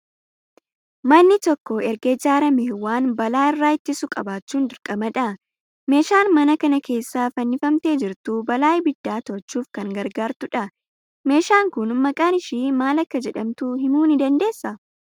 Manni tokko erga ijaaramee waan balaa irraa ittisu qabaachuun dirqama dha. Meeshaan mana kana keessa fannifamtee jirtu balaa abiddaa to'achuuf kan gargaartu dha. Meeshaan kun maqaan ishii maal akka jedhamtu himuu ni dandeessaa?